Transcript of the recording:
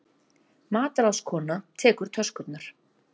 Matráðskona tekur töskurnar.